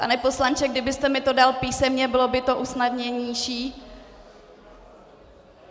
Pane poslanče, kdybyste mi to dal písemně, bylo by to snadnější.